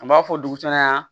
An b'a fɔ dugu caman yan